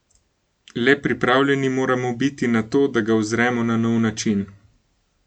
Le pripravljeni moramo biti na to, da ga uzremo na nov način.